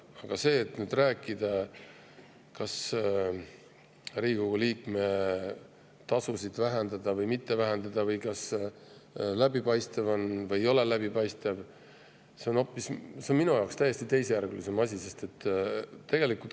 Aga see asi, kas Riigikogu liikme tasu vähendada või mitte vähendada või kas see on läbipaistev või ei ole läbipaistev, on minu jaoks hoopis teisejärguline.